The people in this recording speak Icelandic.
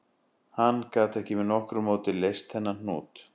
Hann gat ekki með nokkru móti leyst þennan hnút